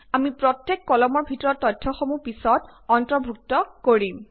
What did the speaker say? আমি প্ৰত্যেক কলামৰ ভিতৰত তথ্যসমূহ পিছত অন্তৰ্ভুক্ত কৰিম